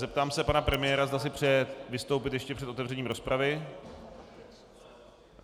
Zeptám se pana premiéra, zda si přeje vystoupit ještě před otevřením rozpravy.